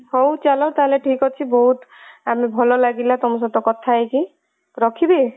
ହଉ ଚାଲ ଠିକ ଅଛି ବହୁତ ଆମେ ଭଲ ଲାଗିଲା ତମ ସହିତ କଥା ହେଇକି ରଖିବି